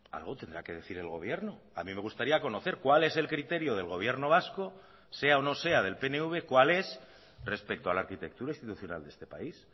algo tendrá que decir el gobierno a mí me gustaría conocer cuál es el criterio del gobierno vasco sea o no sea del pnv cuál es respecto a la arquitectura institucional de este país